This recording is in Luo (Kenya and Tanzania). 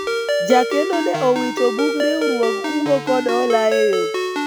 jakleno ne owito bug riwruog kungo kod hola e yoo